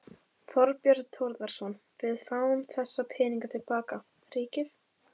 Þorbjörn Þórðarson: Við fáum þessa peninga til baka, ríkið?